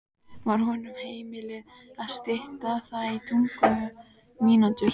Var honum heimilað að stytta það í tuttugu mínútur.